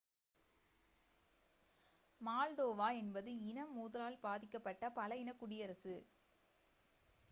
Moldova என்பது இன மோதலால் பாதிக்கப்பட்ட பல இன குடியரசு